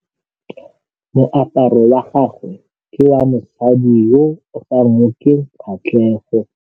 Moaparô wa gagwe ke wa mosadi yo o sa ngôkeng kgatlhegô.